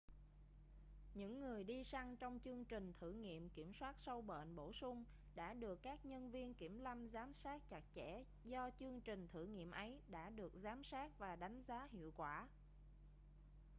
những người đi săn trong chương trình thử nghiệm kiểm soát sâu bệnh bổ sung đã được các nhân viên kiểm lâm giám sát chặt chẽ do chương trình thử nghiệm ấy đã được giám sát và đánh giá hiệu quả